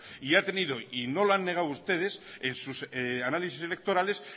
y ha tenido y no lo han negado ustedes en sus análisis electorales